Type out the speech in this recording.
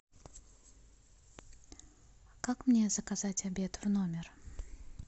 как мне заказать обед в номер